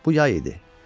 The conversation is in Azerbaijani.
Bu yay idi.